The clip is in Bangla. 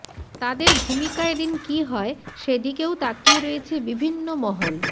তাদের ভূমিকা এদিন কি হয় সেদিকেও তাকিয়ে রয়েছে বিভিন্নমহল